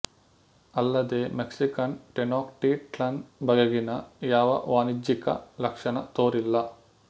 ಅಲ್ಲದೇ Mexican Tenochtitlan ಬಗೆಗಿನ ಯಾವ ವಾಣಿಜ್ಯಿಕ ಲಕ್ಷಣ ತೋರಿಲ್ಲ